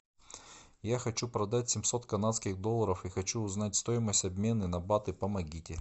я хочу продать семьсот канадских долларов и хочу узнать стоимость обмена на баты помогите